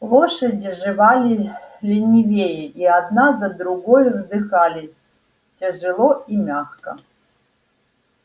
лошади жевали ленивее и одна за другою вздыхали тяжело и мягко